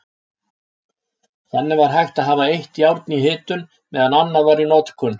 Þannig var hægt að hafa eitt járn í hitun meðan annað var í notkun.